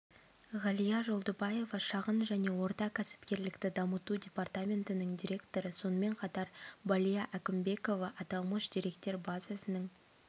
ғалия жолдыбаева шағын және орта кәсіпкерлікті дамыту департаментінің директоры сонымен қатар балия әкімбекова аталмыш деректер базасының